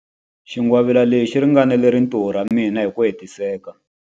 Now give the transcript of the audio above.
Xingwavila lexi xi ringanela rintiho ra mina hi ku hetiseka.